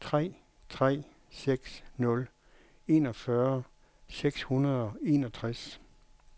tre tre seks nul enogfyrre seks hundrede og enogtres